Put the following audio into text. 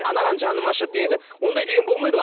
анаған жаным ашып деген сияқты ондай деген болмайды